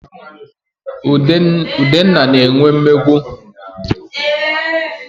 Udenna na-enwe mmegbu.